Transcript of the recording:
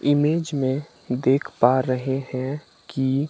image में देख पा रहे हैं कि --